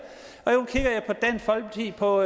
og